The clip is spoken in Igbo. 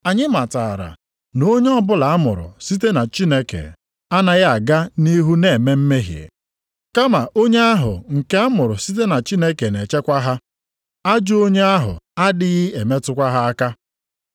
Anyị matara na onye ọbụla amụrụ site na Chineke anaghị aga nʼihu na-eme mmehie, kama onye ahụ nke amụrụ site na Chineke na-echekwa ha, ajọ onye ahụ adịghị emetụkwa ha aka.